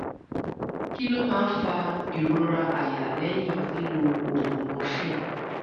kí ló máa ń fa ìrora àyà lẹ́yìn lílo oògùn morphine?